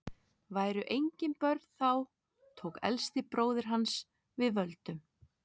væru engin börn þá tók elsti bróðir hans við völdum